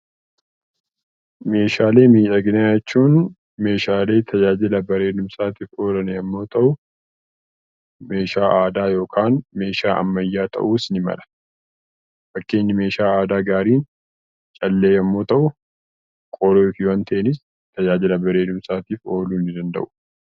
Meeshaalee miidhaginaa jechuun meeshaalee tajaajila miidhagumsaaf oolan yommuu ta'u, meeshaa aadaa tppkaan meeshaa ammayyaa ta'uus ni mala. Fakkeenyi meeshaa aadaa bareedaan callee yeroo ta'u, korojoonteenis tajaajila bareedumsaaf ooluu ni danda’u.